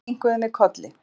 Enn kinkuðum við kolli.